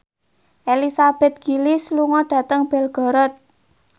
Elizabeth Gillies lunga dhateng Belgorod